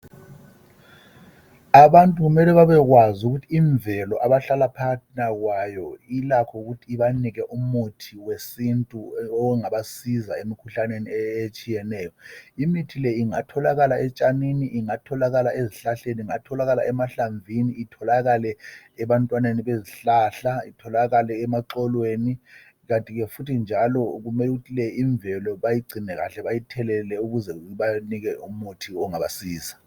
Abantu kumele babekwazi ukuthi imvelo abahlala phakathina kwayo ilakho ukuthi ibanike umuthi wesintu ongabasiza emikhuhlaneni etshiyeneyo. Imithi le ingatholakala etshanini. ezihlahleni, emahlamvini. ebantwaneni bezihlahla itholakale emaxolweni kandi ke futhi njalo kumele kuthi le imvelo bayigcine kahle bayithelele ukuze ibanike umuthi ongabasiza.